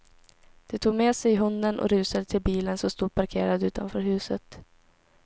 De tog med sig hunden och rusade till bilen som stod parkerad utanför huset.